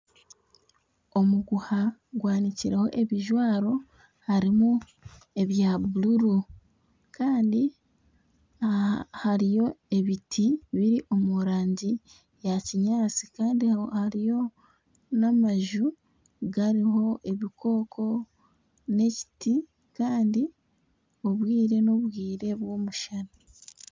Omuguha gwanikireho ebijwaro harimu ebya bururu kandi hariyo ebintu biri omu rangi ya kinyaatsi kandi hariyo n'amaju gariho ebikoko n'ekiti kandi obwire n'obwire bw'omushana